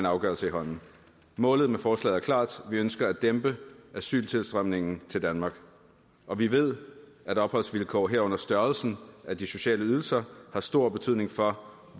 afgørelse i hånden målet med forslaget er klart vi ønsker at dæmpe asyltilstrømningen til danmark og vi ved at opholdsvilkår herunder størrelsen af de sociale ydelser har stor betydning for